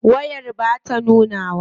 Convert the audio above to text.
Wayar bata nunawa.